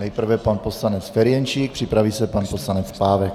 Nejprve pan poslanec Ferjenčík, připraví se pan poslanec Pávek.